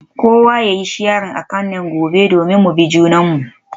Kowa yayi sharing account name gobe domin mu bi junanmu.